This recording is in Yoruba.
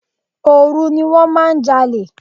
Òru ni wón máa ń jalè.